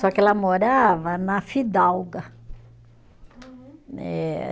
Só que ela morava na Fidalga. Uhum. Eh